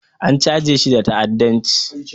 An chajeshi da ta'adanci